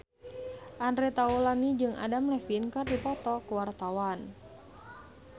Andre Taulany jeung Adam Levine keur dipoto ku wartawan